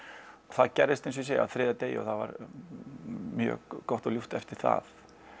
það gerðist eins og ég segi á þriðja degi og það var mjög gott og ljúft eftir það